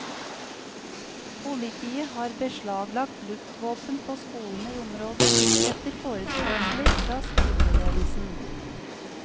Politiet har beslaglagt luftvåpen på skolene i området, etter forespørsler fra skoleledelsen.